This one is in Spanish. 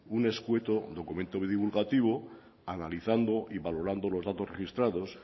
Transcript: un escueto documento divulgativo analizando y valorando los datos registrados